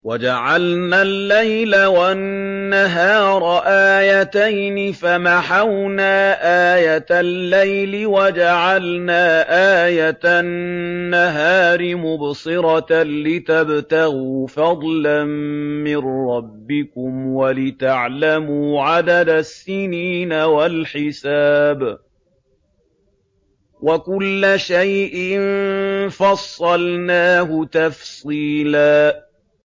وَجَعَلْنَا اللَّيْلَ وَالنَّهَارَ آيَتَيْنِ ۖ فَمَحَوْنَا آيَةَ اللَّيْلِ وَجَعَلْنَا آيَةَ النَّهَارِ مُبْصِرَةً لِّتَبْتَغُوا فَضْلًا مِّن رَّبِّكُمْ وَلِتَعْلَمُوا عَدَدَ السِّنِينَ وَالْحِسَابَ ۚ وَكُلَّ شَيْءٍ فَصَّلْنَاهُ تَفْصِيلًا